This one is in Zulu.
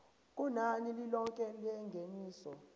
kunani lilonke lengeniso